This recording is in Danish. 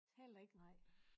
Heller ikke nej